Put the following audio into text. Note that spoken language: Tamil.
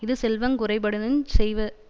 இது செல்வங் குறைபடினுஞ் செய்வரென்றது